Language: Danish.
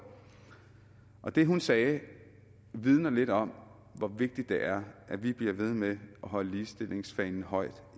og det hun sagde vidner lidt om hvor vigtigt det er at vi bliver ved med at holde ligestillingsfanen højt